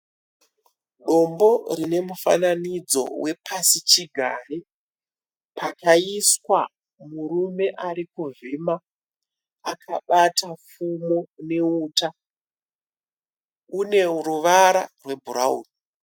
Dombo rine mufananidzo wepasi chigare. Pakaiswa murume arikuvhima akabata pfumo neuta une ruvara rwebhurauni.